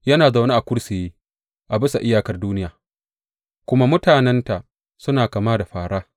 Yana zaune a kursiyi a bisa iyakar duniya, kuma mutanenta suna kama da fāra.